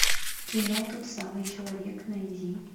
кино тот самый человек найди